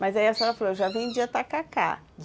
Mas aí a senhora falou que já vendia tacacá.